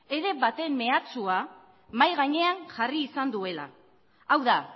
ere baten mehatxua mahai gainean jarri izan duela hau da